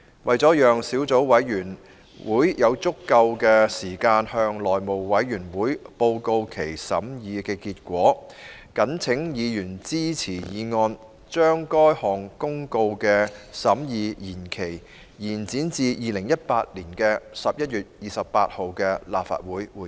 為了讓小組委員會有足夠時間向內務委員會報告其審議結果，謹請議員支持議案，將該項公告的審議期限，延展至2018年11月28日的立法會會議。